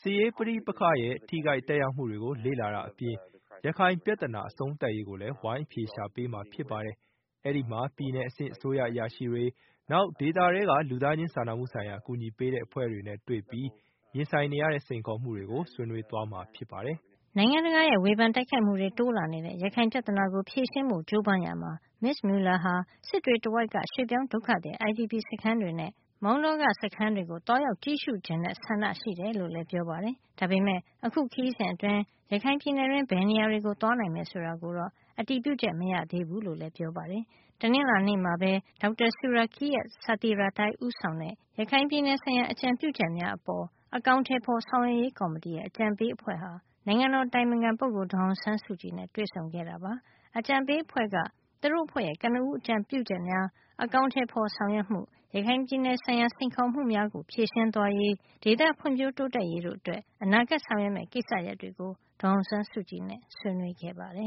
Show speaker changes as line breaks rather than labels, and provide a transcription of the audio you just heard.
စစ်ရေးပဋိပက္ခတွေရဲ့ ထိခိုက်သက်ရောက်မူတွေကို လေ့လာတာအပြင်၊ ရခိုင်ပြဿနာ အဆုံးသတ်ရေးကိုလဲ ဝိုင်းအဖြေရှာပေးမှာ ဖြစ်ပါတယ်။ အဲ့ဒီမှာ ပြည်နယ်အဆင့် အစိုးရ အရာရှိတွေ၊ နောက် ဒေသထဲက လူသားချင်းစာနာမှုဆိုင်ရာ အကူအညီပေးတဲ့အဖွဲ့တွေနဲ့ တွေ့ပြီး ရင်ဆိုင်နေရတဲ့ စိန်ခေါ်မှုတွေကို ဆွေးနွေးသွားမှာဖြစ်ပါတယ်။”
နိုင်ငံတကာရဲ့ ဝေဖန်တိုက်ခိုက်မှုတွေ တိုးလာနေတဲ့ ရခိုင်ပြဿနာဖြေရှင်းဖို့ ကြိုးပမ်းရာမှာ မစ္စ Mueller ဟာ စစ်တွေတဝိုက်က ရွှေ့ပြောင်းဒုက္ခသည် IDP စခန်းတွေနဲ့ မောင်တောက စခန်းတွေကို သွားရောက်ကြည့်ရှုချင်တဲ့ ဆန္ဒရှိတယ်လို့လည်း ပြောပါတယ်။ ဒါပေမယ့် အခုခရီးစဉ်အတွင်း ရခိုင်ပြည်နယ်တွင်း ဘယ်နေရာတွေကို သွားနိုင်မယ်ဆိုတာတော့ အတည်ပြုချက် မရသေးဘူးလို့လည်း ပြောပါတယ်။ တနင်္လာနေ့မှာပဲ Dr. Surakiart Sathirathai ဦးဆောင်တဲ့ ရခိုင်ပြည်နယ်ဆိုင်ရာ အကြံပြုချက်များအပေါ် အကောင်အထည်ဖော် ဆောင်ရွက်ရေးကော်မတီရဲ့ အကြံပေးအဖွဲ့ဟာ နိုင်ငံတော်အတိုင်ပင်ခံပုဂ္ဂိုလ် ဒေါ်အောင်ဆန်းစုကြည်နဲ့ တွေ့ဆုံခဲ့တာပါ။ အကြံပေးအဖွဲ့က သူတို့ အဖွဲ့ရဲ့ ကနဦး အကြံပြုချက်များ အကောင်အထည်ဖော်ဆောင်ရွက်မှု၊ ရခိုင်ပြည်နယ်ဆိုင်ရာ စိန်ခေါ်မှုများကို ဖြေရှင်းသွားရေး၊ ဒေသဖွံ့ဖြိုး တိုးတက်ရေးတို့အတွက် အနာဂတ်ဆောင်ရွက်မယ့် ကိစ္စရပ်တွေကို ဒေါ်အောင်ဆန်းစုကြည်နဲ့ ဆွေးနွေးခဲ့ပါတယ